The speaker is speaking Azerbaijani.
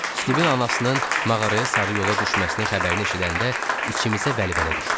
Stivin anasının mağaraya sarı yola düşməsinin xəbərini eşidəndə içimizə vəlvələ düşdü.